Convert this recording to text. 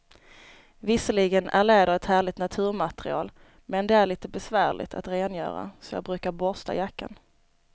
Visserligen är läder ett härligt naturmaterial, men det är lite besvärligt att rengöra, så jag brukar borsta jackan.